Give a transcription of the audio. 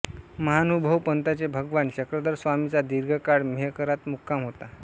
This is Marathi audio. महानुभाव पंथाचे भगवान चक्रधरस्वामींचा दीर्घकाळ मेहकरात मुक्काम होता